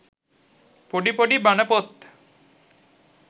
පොඩි පොඩි බණපොත්